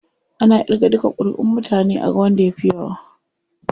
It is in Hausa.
Ana irga duka kuriʼun mutane aga wanda ya fi yawa.